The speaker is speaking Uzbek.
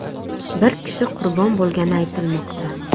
Bir kishi qurbon bo‘lgani aytilmoqda.